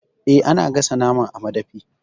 Eh, ana gasa naman a madafi.